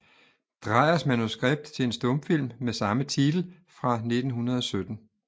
Dreyers manuskript til en stumfilm med samme titel fra 1917